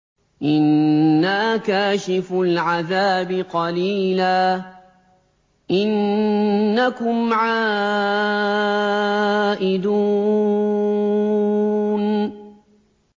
إِنَّا كَاشِفُو الْعَذَابِ قَلِيلًا ۚ إِنَّكُمْ عَائِدُونَ